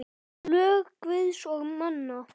Lög Guðs og manna.